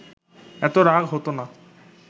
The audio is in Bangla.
এত রাগ হতো না